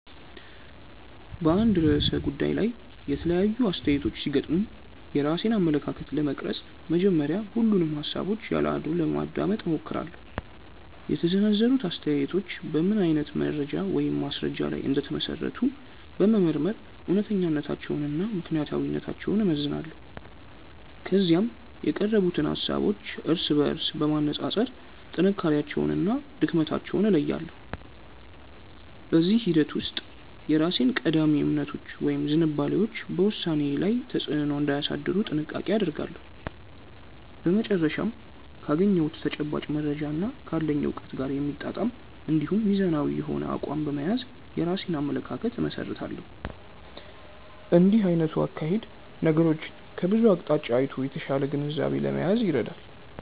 በአንድ ርዕሰ ጉዳይ ላይ የተለያዩ አስተያየቶች ሲገጥሙኝ የራሴን አመለካከት ለመቅረጽ መጀመሪያ ሁሉንም ሃሳቦች ያለ አድልዎ ለማዳመጥ እሞክራለሁ። የተሰነዘሩት አስተያየቶች በምን አይነት መረጃ ወይም ማስረጃ ላይ እንደተመሰረቱ በመመርመር እውነተኛነታቸውንና ምክንያታዊነታቸውን እመዝናለሁ። ከዚያም የቀረቡትን ሃሳቦች እርስ በርስ በማነጻጸር ጥንካሬያቸውንና ድክመታቸውን እለያለሁ። በዚህ ሂደት ውስጥ የራሴ ቀዳሚ እምነቶች ወይም ዝንባሌዎች በውሳኔዬ ላይ ተጽዕኖ እንዳያሳድሩ ጥንቃቄ አደርጋለሁ። በመጨረሻም ካገኘሁት ተጨባጭ መረጃና ካለኝ እውቀት ጋር የሚጣጣም እንዲሁም ሚዛናዊ የሆነ አቋም በመያዝ የራሴን አመለካከት እመሰርታለሁ። እንዲህ አይነቱ አካሄድ ነገሮችን ከብዙ አቅጣጫ አይቶ የተሻለ ግንዛቤ ለመያዝ ይረዳል።